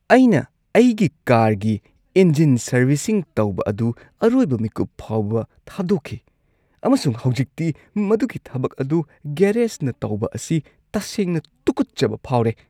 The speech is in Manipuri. ꯑꯩꯅ ꯑꯩꯒꯤ ꯀꯥꯔꯒꯤ ꯏꯟꯖꯤꯟ ꯁꯔꯕꯤꯁꯤꯡ ꯇꯧꯕ ꯑꯗꯨ ꯑꯔꯣꯏꯕ ꯃꯤꯀꯨꯞ ꯐꯥꯎꯕ ꯊꯥꯗꯣꯛꯈꯤ, ꯑꯃꯁꯨꯡ ꯍꯧꯖꯤꯛꯇꯤ ꯃꯗꯨꯒꯤ ꯊꯕꯛ ꯑꯗꯨ ꯒꯦꯔꯦꯖꯅ ꯇꯧꯕ ꯑꯁꯤ ꯇꯁꯦꯡꯅ ꯇꯨꯀꯠꯆꯕ ꯐꯥꯎꯔꯦ꯫